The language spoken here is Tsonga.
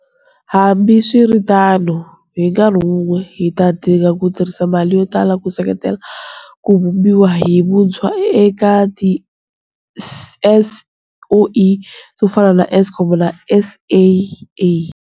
Hambiswiritano, hi nkarhi wun'we, hi ta dinga ku tirhisa mali yo tala ku seketela ku vumbiwa hi vuntshwa ka tiSOE to fana na Eskom na SAA.